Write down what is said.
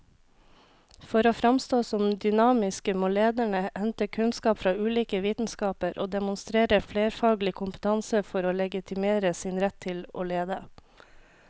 For å framstå som dynamiske må lederne hente kunnskap fra ulike vitenskaper og demonstrere flerfaglig kompetanse for å legitimere sin rett til å lede.